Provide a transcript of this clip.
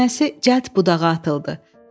Qar dənəsi cəld budağa atıldı.